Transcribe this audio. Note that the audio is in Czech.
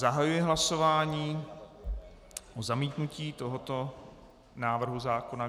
Zahajuji hlasování o zamítnutí tohoto návrhu zákona.